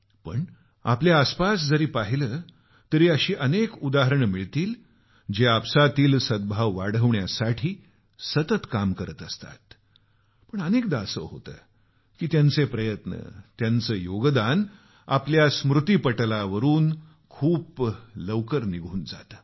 आम्ही आमच्या आसपास जरी पाहिलं तरी अशी अनेक उदाहरणे मिळतील जे आपसातील सद्भाव वाढवण्यासाठी सतत काम करत असतात पण अनेकदा असं होतं की त्यांचे प्रयत्न त्यांचं योगदान आपल्या स्मृतीपटलावरून खूप लवकर निघून जात